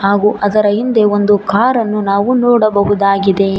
ಹಾಗೂ ಅದರ ಹಿಂದೆ ಒಂದು ಕಾರನ್ನು ನಾವು ನೋಡಬಹುದಾಗಿದೆ.